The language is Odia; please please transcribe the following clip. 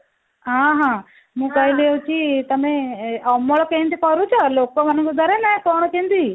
ହଁ ହଁ ମୁଁ କହିଲି ହଉଛି ତମେ ଅମଳ କେମିତି କରୁଛ ଲୋକମାନଙ୍କ ଦ୍ଵାରା ନା କଣ କେମିତି